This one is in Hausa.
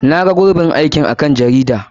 Na ga gurɓin aikin a kan jarida.